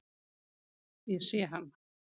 Ég sé hann.